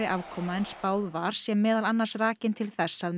afkoma en spáð var sé meðal annars rakin til þess að